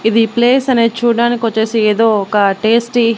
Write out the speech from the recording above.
ఇది ప్లేస్ అనేది చూడడానికి వచ్చేసి ఏదో ఒక టేస్టీ .